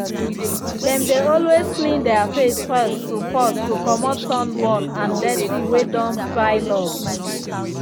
them dey always clean their face first to first to comot sunburn and dirty way don pile up